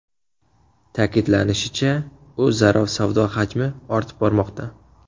Ta’kidlanishicha, o‘zaro savdo hajmi ortib bormoqda.